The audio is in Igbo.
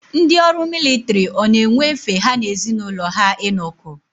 Ndị ọrụ militiri ọ na-enwe efe ha na ezi n'ụlọ ha inọkọ.